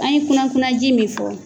An ye kunna kunna ji min fɔ